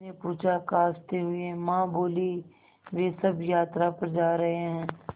उसने पूछा खाँसते हुए माँ बोलीं वे सब यात्रा पर जा रहे हैं